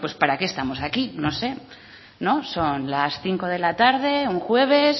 pues para qué estamos aquí no sé son las diecisiete cero un jueves